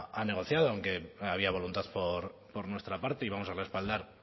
ha negociado aunque había voluntad por nuestra parte y vamos a respaldar